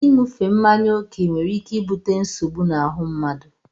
Ịṅufe mmanya oke nwere ike ibute nsogbu na ahụ mmadụ.